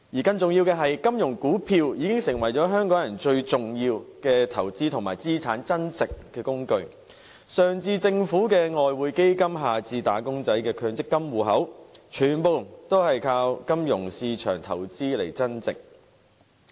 更重要的是，金融股票已經成為香港人最重要的投資和資產增值工具，上至政府的外匯基金，下至"打工仔"的強制性公積金計劃戶口，全部都靠金融市場投資而增值。